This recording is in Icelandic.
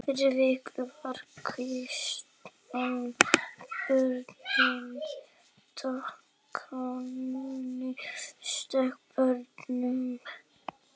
Fyrir vikið var Christian bundinn Danakonungi sterkum böndum.